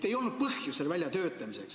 Ei olnud põhjust seda välja töötada.